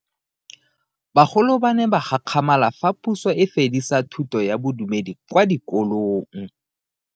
Bagolo ba ne ba gakgamala fa Puso e fedisa thuto ya Bodumedi kwa dikolong.